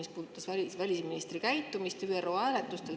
See puudutas välisministri käitumist ÜRO hääletustel.